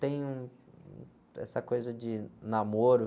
Tem um, hum, essa coisa de namoro.